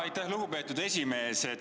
Aitäh, lugupeetud esimees!